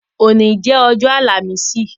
Ọ̀ní jẹ Ọ̀jọ̀ Alamìsìì